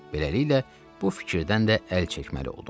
Beləliklə, bu fikirdən də əl çəkməli oldum.